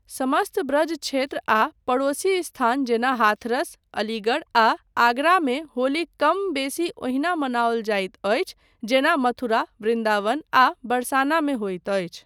समस्त ब्रज क्षेत्र आ पड़ोसी स्थान जेना हाथरस, अलीगढ़, आ आगरा मे होली कम बेसी ओहिना मनाओल जाइत अछि जेना मथुरा, वृन्दावन आ बरसाना मे होइत अछि।